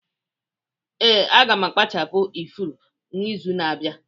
Ee, aga m akpachapu ifuru n'izu na-abịa.